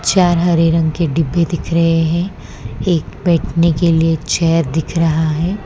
चार हरे रंग के डीब्बे दिख रहे हैं एक बैठने के लिए चेयर दिख रहा है।